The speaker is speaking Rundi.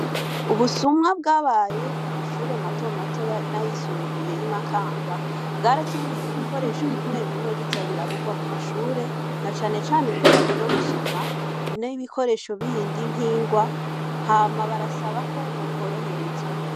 Ubusuma bwabaye ku mashure matomato n'ayisumbuye y'Imakamba, bwaratumye ibikoresho bimwe bimwe biza biraburwa mu mashure, na cane cane ibitabo vyo gusoma n'ibikoresho bindi nk'ingwa, hama barasaba ko bokoroherezwa.